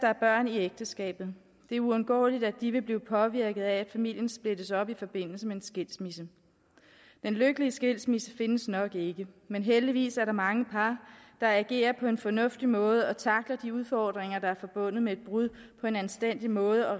er børn i ægteskabet det er uundgåeligt at de vil blive påvirket af at familien splittes op i forbindelse med en skilsmisse den lykkelige skilsmisse findes nok ikke men heldigvis er der mange par der agerer på en fornuftig måde og tackler de udfordringer der er forbundet med et brud på en anstændig måde